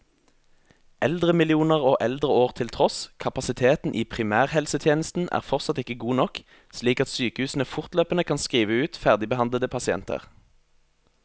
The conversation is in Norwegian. Eldremillioner og eldreår til tross, kapasiteten i primærhelsetjenesten er fortsatt ikke god nok, slik at sykehusene fortløpende kan skrive ut ferdigbehandlede pasienter.